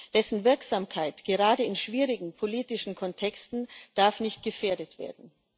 Dessen Wirksamkeit gerade in schwierigen politischen Kontexten darf nicht gefährdet werden.